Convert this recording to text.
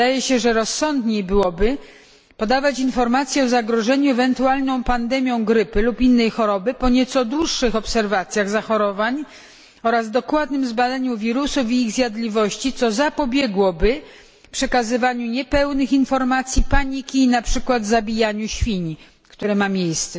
Wydaje się, że rozsądniej byłoby podawać informacje o zagrożeniu ewentualną pandemią grypy lub innej choroby po nieco dłuższych obserwacjach zachorowań oraz dokładnym zbadaniu wirusów i ich zjadliwości, co zapobiegłoby przekazywaniu niepełnych informacji, paniki i na przykład zabijaniu świń, które ma miejsce.